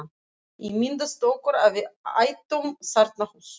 Ímyndað okkur að við ættum þarna hús.